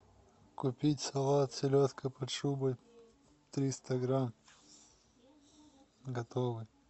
купить салат селедка под шубой триста грамм готовый